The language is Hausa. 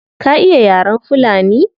Ka iya yaren fulani?